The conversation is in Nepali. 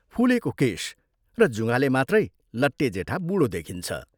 फुलेको केश र जुँघाले मात्रै लट्टे जेठा बूढो देखिन्छ।